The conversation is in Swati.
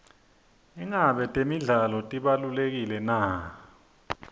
ingabe temidlalo tibalulekile na